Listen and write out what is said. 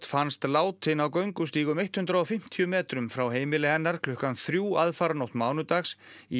fannst látin á göngustíg um hundrað og fimmtíu metrum frá heimili hennar klukkan þrjú aðfaranótt mánudags í